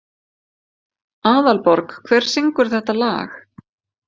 Aðalborg, hver syngur þetta lag?